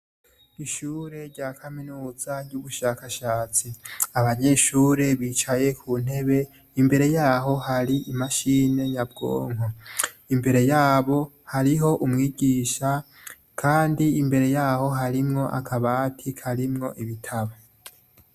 Ishure rya kaminuza y'ugushakashatsi abanyeshure bicaye ku ntebe imbere yaho hari imashine nyabwonko imbere yabo hariho umwigisha, kandi imbere yaho harimwo akabati karimwo ibitabo